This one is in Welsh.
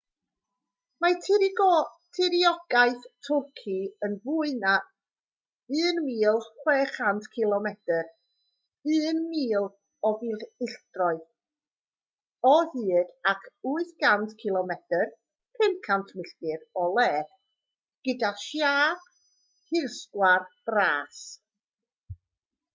mae tiriogaeth twrci yn fwy na 1,600 cilomedr 1,000 o filltiroedd o hyd ac 800 cilomedr 500 milltir o led gyda siâp hirsgwar bras